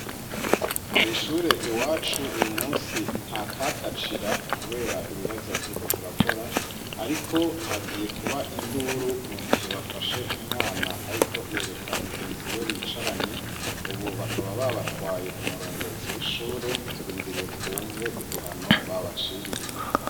Kw'ishure iwacu uyu munsi nta kakacira kubera ibibazo turiko turakora, ariko hagiye kuba induru mu gihe bafashe umwana ariko yereka mugenzi we bicaranye; ubu bakaba babatwaye ku murongozi w'ishure, turindiriye twumve igihano babaciriye.